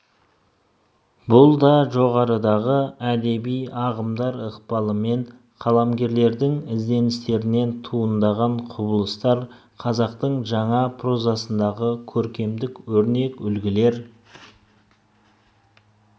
бұл да жоғарыдағы әдеби ағымдар ықпалымен қаламгерлердің ізденістерінен туындаған құбылыстар қазақтың жаңа прозасындағы көркемдік өрнек үлгілер